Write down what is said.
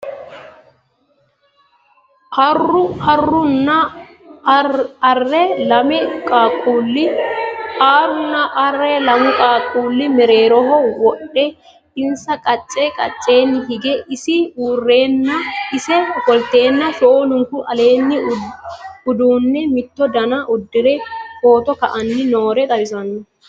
Aruu nna aree lame qaaqulle mereerroho wodhe , insa qacce qacceenni hige isi uurenna ise offolitte shoolunku aleenni uduunne mitto danna udirre footto ka'anni noore xawissanno